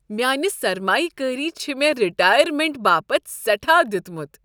میٛانہ سرمایہ کٲری چھ مےٚ رٹایرمینٹ باپتھ سٮ۪ٹھاہ دیتمت ۔